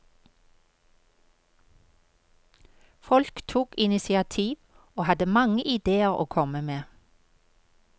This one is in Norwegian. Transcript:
Folk tok initiativ og hadde mange ideer å komme med.